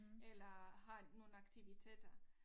Eller har nogle aktiviteter